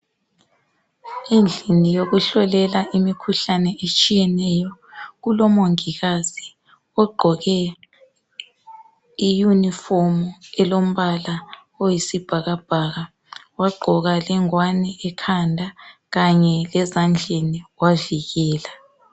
Endlini yokuhlolela imikhuhlane etshiyeneyo kulomongikazi ogqoke iyunifomi elombala oyisibhakabhaka wagqoka lengwane ekhanda kanye lezandleni wavikela.